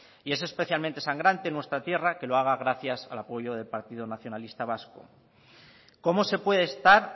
y es especialmente sangrante en nuestra tierra que lo haga gracias al apoyo del partido nacionalista vasco cómo se puede estar